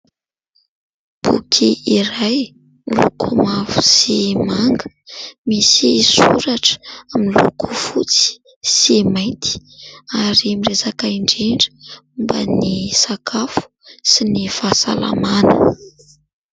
Boky iray miloko mavo sy manga misy soratra miloko fotsy sy mainty ary miresaka indrindra momba ny sakafo sy ny fahasalamana.